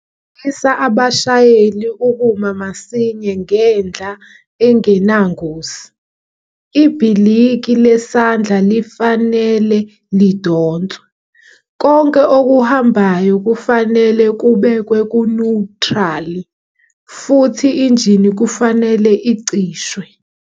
Fundisa abashayeli ukuma masiny ngendla engenangozi. Ibhiliki lesandla lifanele lidonswe, konke okuhambayo kufanele kubeku'newutrali', futhi injini ifanele icishwe.